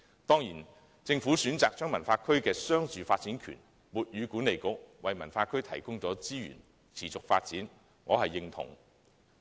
當然，政府選擇將西九文化區的商住發展權授予西九管理局，為西九文化區提供資源以持續發展，我是認同的。